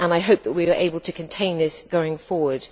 I hope that we were able to contain this, going forward.